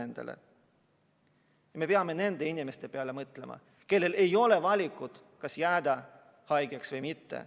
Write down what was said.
Me peame mõtlema nende inimeste peale, kellel ei ole valikut, kas jääda haigeks või mitte.